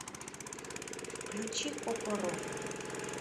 включи кокороко